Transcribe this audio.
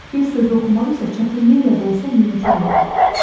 Bir sözü oxumaq isə çətinliklə də olsa mümkün oldu.